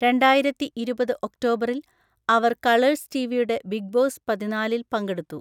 രണ്ടായിരത്തി ഇരുപത് ഒക്ടോബറിൽ അവർ കളേഴ്‌സ് ടിവിയുടെ ബിഗ് ബോസ് പതിനാലിൽ പങ്കെടുത്തു.